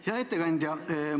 Hea ettekandja!